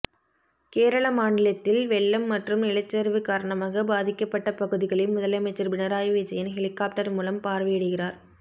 கேரள மாநிலத்தில் வெள்ளம் மற்றும் நிலச்சரிவு காரணமாக பாதிக்கப்பட்ட பகுதிகளை முதலமைச்சர் பினராயி விஜயன் ஹெலிகாப்டர் மூலம் பார்வையிடுகிறார்